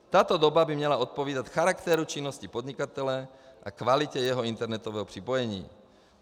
Tato doba by měla odpovídat charakteru činnosti podnikatele a kvalitě jeho internetového připojení.